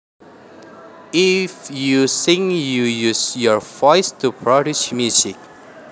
If you sing you use your voice to produce music